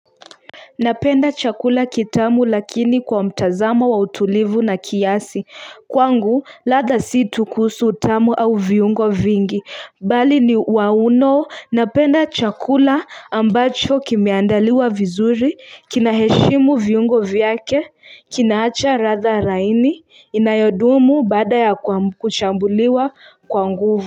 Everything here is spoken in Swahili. Napenda chakula kitamu lakini kwa mtazamo wa utulivu na kiasi, kwangu latha si tu kuhusu utamu au viungo vingi, bali ni wauno napenda chakula ambacho kimeandaliwa vizuri, kinaheshimu viungo vyake, kinaacha ratha raini, inayodumu baada ya kuchambuliwa kwa nguvu.